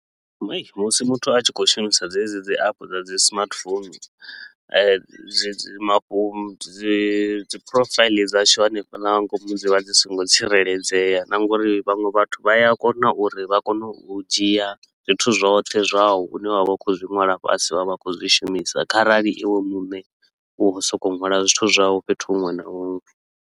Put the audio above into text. Hai, musi muthu a tshi khou shumisa dzedzi dzi app dza dzi smartphone, dzi mafhu dzi dzi profile dzashu hanefhala nga ngomu dzi vha dzi so ngo tsireledzea. Na nga uri vhaṅwe vhathu vha ya kona uri vha kone u dzhia zwithu zwoṱhe zwau hune wa vha u khou zwi nwala fhasi vha vha khou zwi shumisa kharali iwe muṋe u wa u so ko u nwala zwithu zwau fhethu huṅwe na huṅwe.